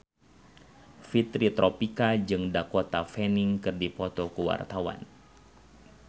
Fitri Tropika jeung Dakota Fanning keur dipoto ku wartawan